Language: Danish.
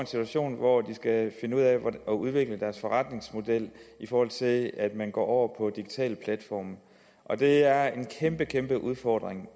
situation hvor de skal finde ud af at udvikle deres forretningsmodel i forhold til at man går over på digitale platforme det er en kæmpe kæmpe udfordring